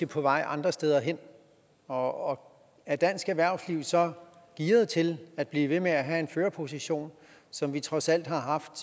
på vej andre steder hen og er dansk erhvervsliv så gearet til at blive ved med at have en førerposition som vi trods alt har haft